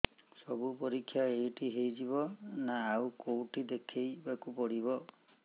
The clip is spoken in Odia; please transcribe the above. ସବୁ ପରୀକ୍ଷା ଏଇଠି ହେଇଯିବ ନା ଆଉ କଉଠି ଦେଖେଇ ବାକୁ ପଡ଼ିବ